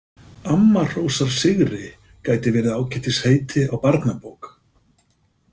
Amma hrósar sigri gæti verið ágætis heiti á barnabók.